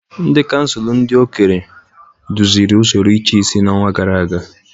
Ndị kansụl ndị okenye duziri usoro ịchịisi n'ọnwa gara aga